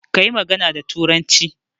Kayi magana da turanci